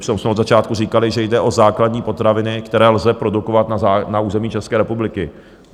Přitom jsme od začátku říkali, že jde o základní potraviny, které lze produkovat na území České republiky.